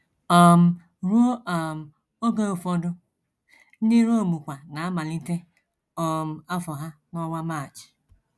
um Ruo um oge ụfọdụ, ndị Rom kwa na - amalite um afọ ha n’ọnwa March.